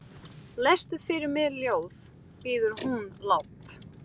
Lestu fyrir mig ljóð, biður hún lágt.